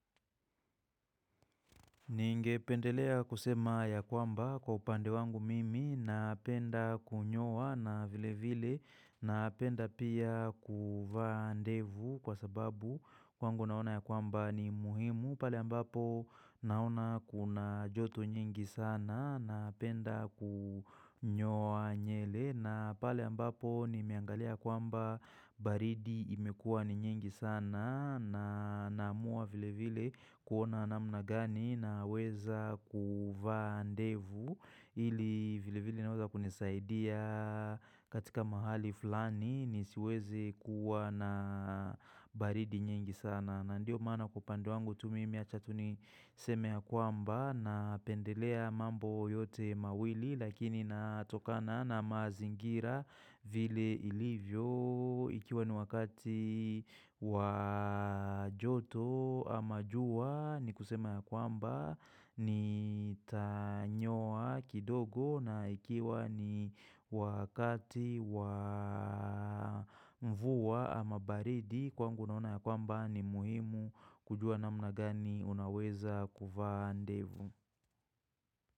Ninge pendelea kusema ya kwamba kwa upande wangu mimi napenda kunyowa na vile vile napenda pia kuvandevu kwa sababu kwangu naona ya kwamba ni muhimu pale ambapo naona kuna joto nyingi sana napenda kunyowa nyele na pale ambapo ni meangalia kwamba baridi imekua ni nyingi sana na namua vile vile kuona namna gani na weza kufa andevu ili vile vile naweza kunisaidia katika mahali fulani ni siweze kuwa na baridi nyengi sana. Na ndio maana kupande wangu tu mimi achatu niseme ya kwamba na pendelea mambo yote mawili lakini natokana na mazingira vile ilivyo ikiwa ni wakati wajoto ama juwa ni kusema ya kwamba ni tanyoa kidogo na ikiwa ni wakati wamvua ama baridi Kwangu naona ya kwamba ni muhimu kujua na mna gani unaweza kuvaa ndevu.